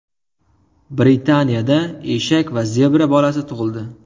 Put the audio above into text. Britaniyada eshak va zebra bolasi tug‘ildi.